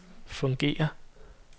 fungerer